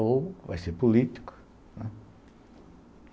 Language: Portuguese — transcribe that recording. Ou vai ser político, né.